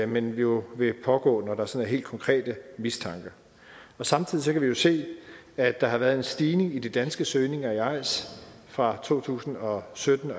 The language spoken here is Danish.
men jo vil pågå når der sådan er helt konkret mistanke samtidig kan vi jo se at der har været en stigning i de danske søgninger i eis fra to tusind og sytten